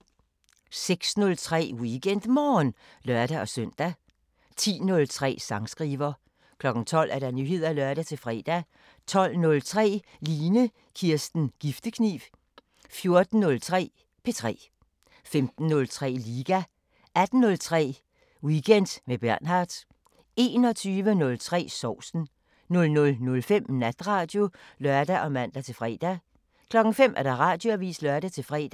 06:03: WeekendMorgen (lør-søn) 10:03: Sangskriver 12:00: Nyheder (lør-fre) 12:03: Line Kirsten Giftekniv 14:03: P3 15:03: Liga 18:03: Weekend med Bernhard 21:03: Sovsen 00:05: Natradio (lør og man-fre) 05:00: Radioavisen (lør-fre)